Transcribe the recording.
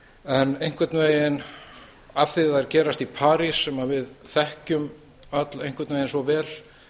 en einhvern veginn af því þær gerast í parís sem við þekkjum öll einhvern veginn svo vel